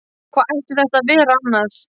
Hvað ætti þetta að vera annað?